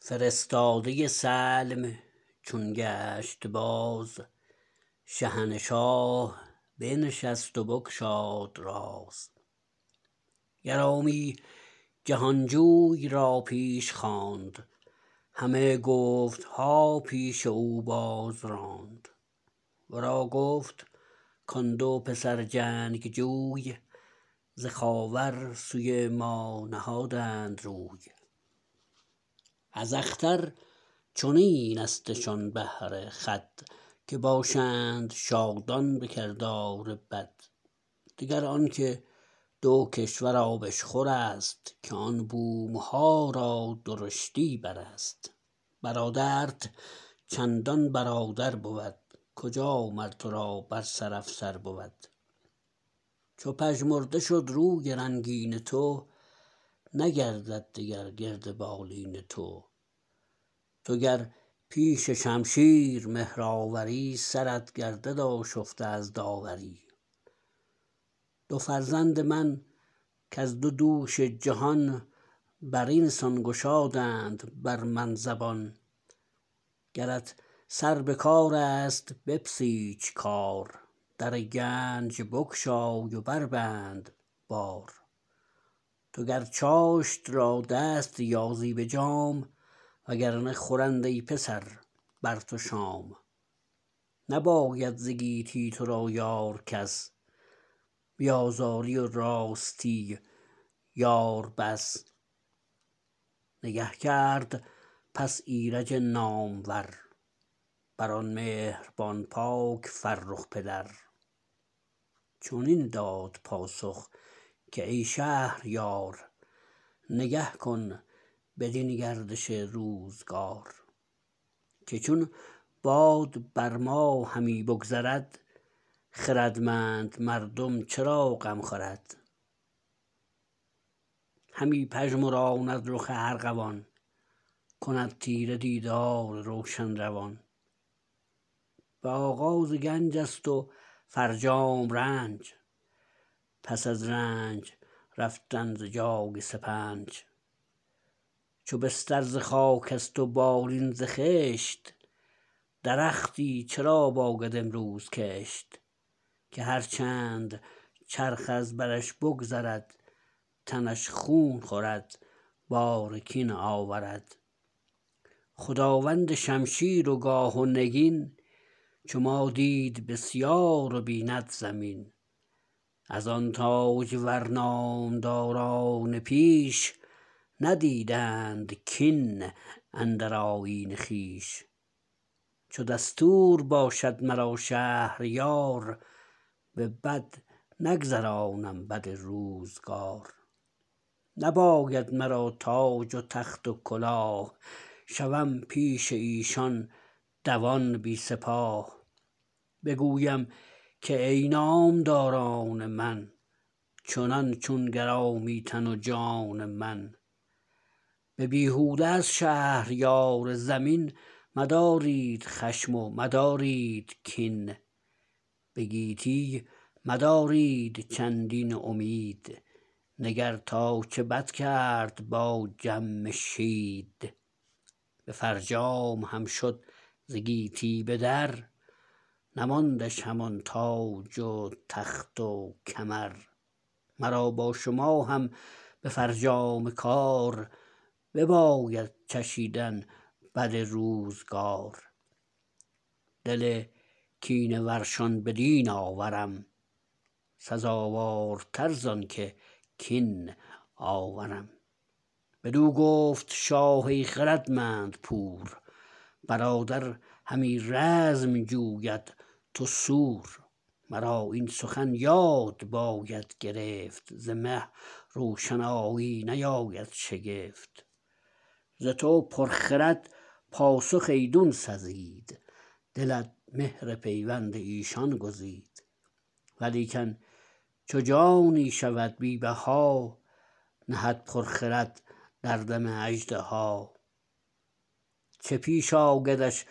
فرستاده سلم چون گشت باز شهنشاه بنشست و بگشاد راز گرامی جهانجوی را پیش خواند همه گفتها پیش او بازراند ورا گفت کان دو پسر جنگجوی ز خاور سوی ما نهادند روی از اختر چنین استشان بهره خود که باشند شادان به کردار بد دگر آنکه دو کشور آبشخورست که آن بومها را درشتی برست برادرت چندان برادر بود کجا مر ترا بر سر افسر بود چو پژمرده شد روی رنگین تو نگردد دگر گرد بالین تو تو گر پیش شمشیر مهرآوری سرت گردد آشفته از داوری دو فرزند من کز دو دوش جهان برینسان گشادند بر من زبان گرت سر بکارست بپسیچ کار در گنج بگشای و بربند بار تو گر چاشت را دست یازی به جام و گر نه خورند ای پسر بر تو شام نباید ز گیتی ترا یار کس بی آزاری و راستی یار بس نگه کرد پس ایرج نامور برآن مهربان پاک فرخ پدر چنین داد پاسخ که ای شهریار نگه کن بدین گردش روزگار که چون باد بر ما همی بگذرد خردمند مردم چرا غم خورد همی پژمراند رخ ارغوان کند تیره دیدار روشن روان به آغاز گنج است و فرجام رنج پس از رنج رفتن ز جای سپنچ چو بستر ز خاکست و بالین ز خشت درختی چرا باید امروز کشت که هر چند چرخ از برش بگذرد تنش خون خورد بار کین آورد خداوند شمشیر و گاه و نگین چو ما دید بسیار و بیند زمین از آن تاجور نامداران پیش ندیدند کین اندر آیین خویش چو دستور باشد مرا شهریار به بد نگذرانم بد روزگار نباید مرا تاج و تخت و کلاه شوم پیش ایشان دوان بی سپاه بگویم که ای نامداران من چنان چون گرامی تن و جان من به بیهوده از شهریار زمین مدارید خشم و مدارید کین به گیتی مدارید چندین امید نگر تا چه بد کرد با جمشید به فرجام هم شد ز گیتی بدر نماندش همان تاج و تخت و کمر مرا با شما هم به فرجام کار بباید چشیدن بد روزگار دل کینه ورشان بدین آورم سزاوارتر زانکه کین آورم بدو گفت شاه ای خردمند پور برادر همی رزم جوید تو سور مرا این سخن یاد باید گرفت ز مه روشنایی نیاید شگفت ز تو پر خرد پاسخ ایدون سزید دلت مهر پیوند ایشان گزید ولیکن چو جانی شود بی بها نهد پر خرد در دم اژدها چه پیش آیدش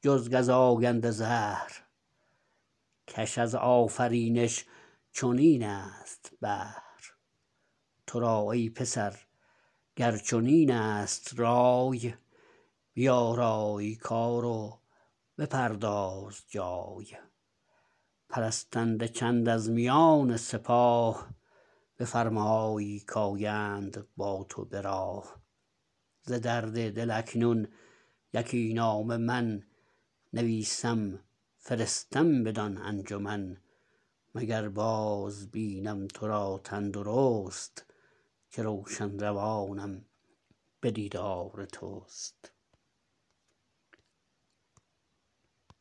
جز گزاینده زهر کش از آفرینش چنین است بهر ترا ای پسر گر چنین است رای بیارای کار و بپرداز جای پرستنده چند از میان سپاه بفرمای کایند با تو به راه ز درد دل اکنون یکی نامه من نویسم فرستم بدان انجمن مگر باز بینم ترا تن درست که روشن روانم به دیدار تست